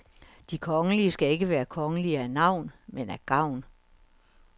De kongelige skal ikke være kongelige af navn, men af gavn.